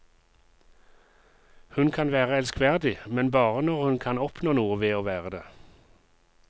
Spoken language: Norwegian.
Hun kan være elskverdig, men bare når hun kan oppnå noe ved å være det.